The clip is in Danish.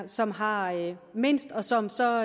som har mindst og som så